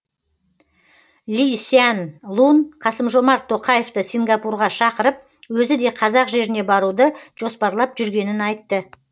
ли сян лун қасым жомарт тоқаевты сингапурға шақырып өзі де қазақ жеріне баруды жоспарлап жүргенін айтты